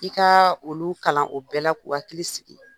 I ka olu kalan o bɛɛ la k'u hakili sigi,